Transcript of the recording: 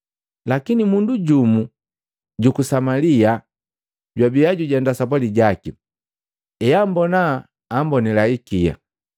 Lakini mundu jumu juku Samalia jojwabia jujenda sapwali jaki. Eambona, ammbonila ikia.